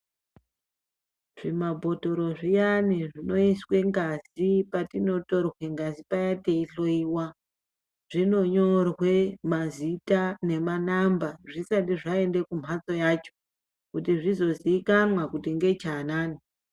Zvimabhodhoro zviyani zvinoiswe ngazi patinotorwe ngazi paya teyihloyiwa, zvinonyorwe mazita nemanhamba zvisati zvaende kumbatso yacho kuti zvizozikanwa kuti ngechaanani.